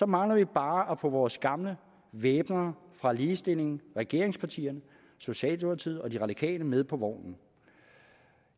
mangler vi bare at få vores gamle væbnere fra ligestillingen regeringspartierne socialdemokratiet og de radikale med på vognen